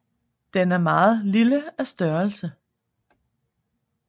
Den er meget lille af størrelse